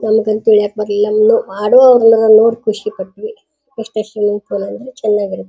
ನಮ್ಗ್ ಅಂತ ಹೇಳಕ್ ಬರ್ಲಿಲ್ಲ ಆಡೋವಾಗ ನೋಡಿ ಖುಷಿ ಪಟ್ವಿಇಷ್ಟೇ ಸ್ವಿಮ್ಮಿಂಗ್ ಫೂಲ್ ಅಂದ್ರೆ ಚೆನಾಗಿರುತ್ತೆ.